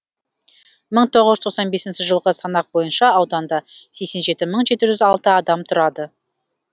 мың тоғыз жүз тоқсан бесінші жылғы санақ бойынша ауданда сексен жеті мың жеті жүз алты адам тұрады